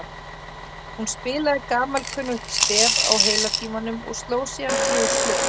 Hún spilaði gamalkunnugt stef á heila tímanum og sló síðan þrjú slög.